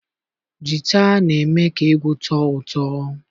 Jita na-eme ka egwu tọọ ụtọ.